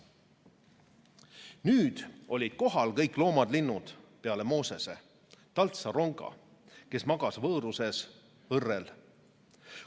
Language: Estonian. Nüüd olid kohal kõik loomad-linnud peale Moosese, taltsa ronga, kes magas vööruses õrrel.